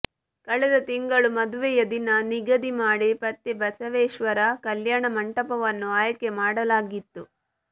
ಕಳೆದ ತಿಂಗಳು ಮದುವೆಯ ದಿನ ನಿಗದಿ ಮಾಡಿ ಪತ್ತಿ ಬಸವೇಶ್ವರ ಕಲ್ಯಾಣ ಮಂಟಪವನ್ನು ಆಯ್ಕೆ ಮಾಡಲಾಗಿತ್ತು